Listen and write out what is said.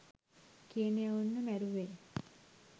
කියන එවුන්ව මැරුවේ.